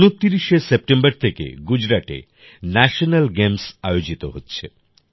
২৯শে September থেকে গুজরাটে National Games আয়োজিত হচ্ছে